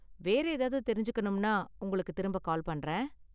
வேற ஏதாவது தெரிஞ்சுக்கணும்னா உங்களுக்கு திரும்ப கால் பண்றேன்.